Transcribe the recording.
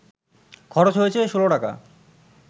খরচ হয়েছে ১৬ টাকা